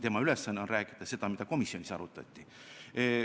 Tema ülesanne on rääkida seda, mida komisjonis arutati.